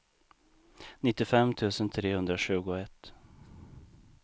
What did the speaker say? nittiofem tusen trehundratjugoett